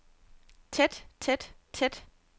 tæt tæt tæt